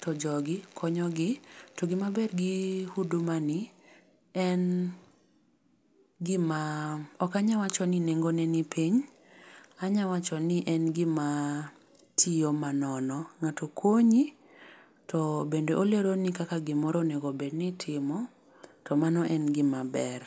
to jogi konyogi to gimaber gi hudumani en gima okanyawacho ni nengone ni piny, anyawacho ni en gimatiyo manono, ng'ato konyi to bende oleroni kaka gimoro onegobed ni itimo to mano en gimaber.